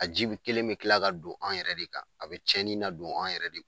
A ji bi kelen bɛ tila ka don anw yɛrɛ de kan, a bɛ tiɲɛnin na don anw yɛrɛ de